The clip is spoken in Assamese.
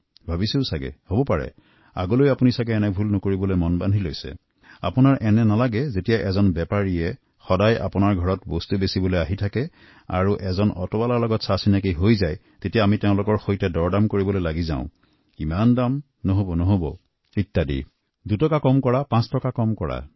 আপোনালোকৰো মনে নহয় নে যে আমাৰ ঘৰৰ আশে পাশে যেতিয়া কোনোবাই সামগ্ৰী বিক্ৰী কৰিবলৈ আহ ফেৰীৱলা আহে কোনো সৰু দোকানী শাকপাচলি বিক্ৰেতাৰ সৈতে আমি কাম কৰিব লাগে কেতিয়াবা অটোৰিক্সাক দৰকাৰ হয়যেতিয়াই কোনো শ্ৰমজীৱি লোকৰ সৈতে কাম কৰিব লগাত পৰে আমাৰ তেতিয়াই আমিৰা দৰদাম কৰোঁ দৰ কমাবলৈ লাগি তাৰ সৈতেইমান নহয় দুটকা কম লওঁক পাঁচ টকা কম কৰক